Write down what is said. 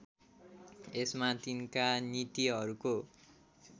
यसमा तिनका नीतिहरूको